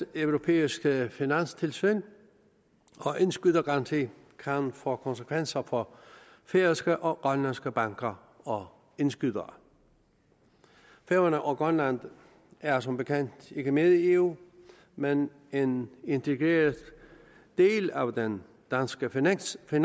det europæiske finanstilsyn og indskydergaranti kan få konsekvenser for færøske og grønlandske banker og indskydere færøerne og grønland er som bekendt ikke med i eu men er en integreret del af den danske finanssektor